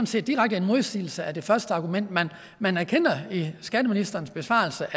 set direkte en modsigelse af det første argument man erkender i skatteministerens besvarelse